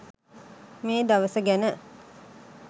මේ දවස ගැන